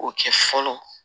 O kɛ fɔlɔ